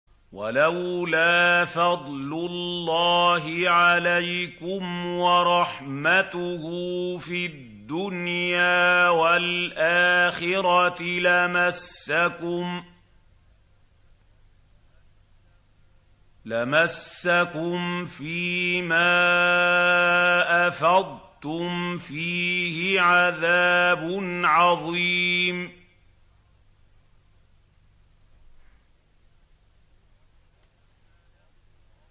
وَلَوْلَا فَضْلُ اللَّهِ عَلَيْكُمْ وَرَحْمَتُهُ فِي الدُّنْيَا وَالْآخِرَةِ لَمَسَّكُمْ فِي مَا أَفَضْتُمْ فِيهِ عَذَابٌ عَظِيمٌ